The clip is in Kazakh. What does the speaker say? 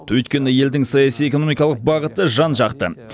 өйткені елдің саяси экономикалық бағыты жан жақты